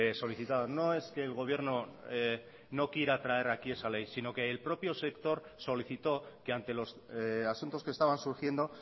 solicitado no es que el gobierno no quiera traer aquí esa ley sino que el propio sector solicitó que ante los asuntos que estaban surgiendo